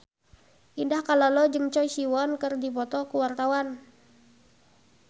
Indah Kalalo jeung Choi Siwon keur dipoto ku wartawan